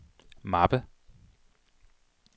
mappe